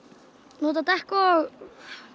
nota dekk og